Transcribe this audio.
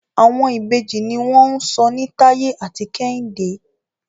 Àwọn Ìbejì ní wón sọ ní Taye àti Kehinde.